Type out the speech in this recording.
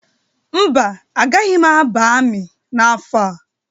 Mba, agaghị m aba amị n'afọ a.